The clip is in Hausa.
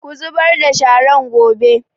Ku zubar da sharan gobe!